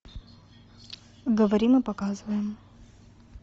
говорим и показываем